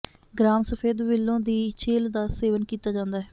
gram ਸਫ਼ੇਦ willow ਦੀ ਛਿੱਲ ਦਾ ਸੇਵਨ ਕੀਤਾ ਜਾਂਦਾ ਹੈ